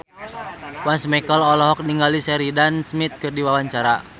Once Mekel olohok ningali Sheridan Smith keur diwawancara